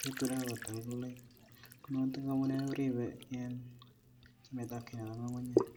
keturek ko totok amune koripe chametapkei nepo ng'ung'unyek.